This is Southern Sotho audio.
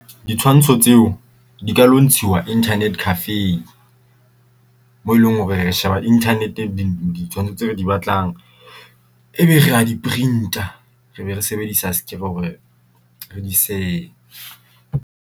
Ditshwantsho tseo di ka lo ntshiuwa internet cafe mo eleng hore re sheba internet ditshwantsho tse re di batlang ebe re a di-print-a re be re sebedisa scan hore re di se.